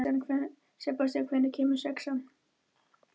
Sebastían, hvenær kemur sexan?